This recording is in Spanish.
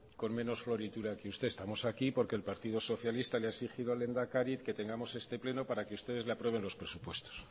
con menos floritura que usted estamos aquí porque el partido socialista le ha exigido al lehendakari que tengamos este pleno para que ustedes le aprueben los presupuestos